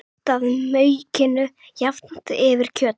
Nuddaðu maukinu jafnt yfir kjötið.